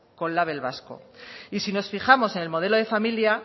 con label vasco y sin nos fijamos en el modelo de familia